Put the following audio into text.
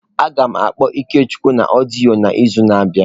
Agam akpọ Ikechukwu na odiyo n'izu na abia.